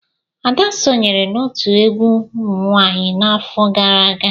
Ada sonyeere n'otu egwu umunwanyi n'afọ gara aga.